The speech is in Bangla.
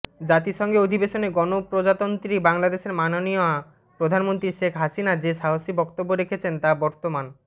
জাতিসংঘে অধিবেশনে গণপ্রজাতন্ত্রী বাংলাদেশের মাননীয় প্রধানমন্ত্রী শেখ হাসিনা যে সাহসী বক্তব্য রেখেছেন তা বর্তমা